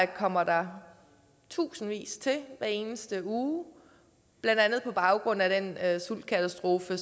kommer tusindvis til hver eneste uge blandt andet på baggrund af den sultkatastrofe i